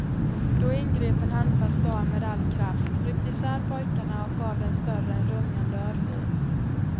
Då ingrep en handfast dam med all kraft, ryckte isär pojkarna och gav den större en rungande örfil.